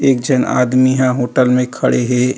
एक झन एक आदमी ह होटल में खड़े हे।